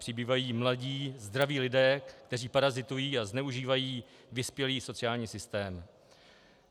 Přibývají mladí zdraví lidé, kteří parazitují a zneužívají vyspělý sociální systém.